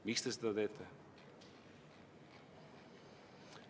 Miks te seda teete?